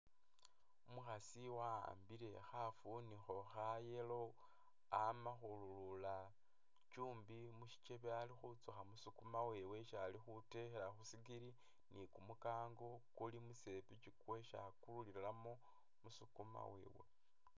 Umukhasi wa'ambile khafunikho kha'yellow amakhulula chumbi mushichebe alikhutsukha musukuma wewe isi alikhutekhela khusigili ni'kumukango kulimusepichi kwesi akululilamo musukuma wewe